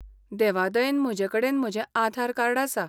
देवादयेन, म्हजेकडेन म्हजें आधार कार्ड आसा.